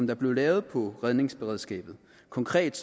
der blev lavet på redningsberedskabet konkret